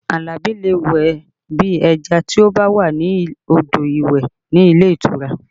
Alabi lè wẹ̀ bí ẹja tí ó bá wà ní odò ìwẹ̀ ní ilé ìtura